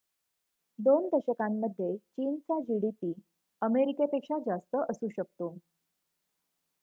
२ दशकांमध्ये चीनचा gdp अमेरिकेपेक्षा जास्त असू शकतो